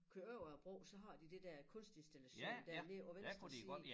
Kører over æ bro så har de det der kunstinstallation dernede på venstre side